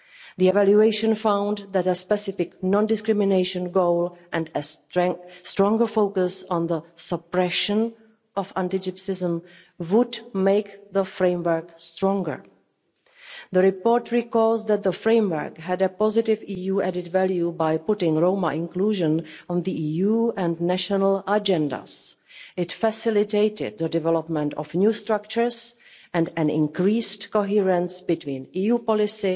The evaluation found that a specific non discrimination goal and a stronger focus on the suppression of anti Gypsyism would make the framework stronger. The report notes that the framework achieved positive EU added value by putting Roma inclusion on the EU and national agendas. It facilitated the development of new structures and increased consistency between the EU policy,